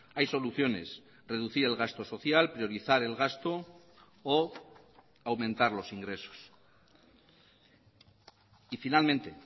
hay soluciones reducir el gasto social priorizar el gasto o aumentar los ingresos y finalmente